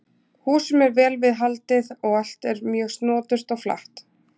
Húsum er vel við haldið og allt er mjög snoturt og flatt.